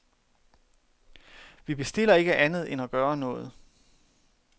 Vi bestiller ikke andet end at gøre noget.